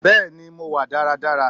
Bẹ́ẹ̀ni mo wà dára dára